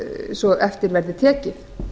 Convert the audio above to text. svo eftir verði tekið